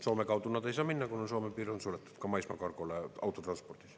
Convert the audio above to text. Soome kaudu nad ei saa minna, kuna Soome piir on suletud ka maismaakargole autotranspordis.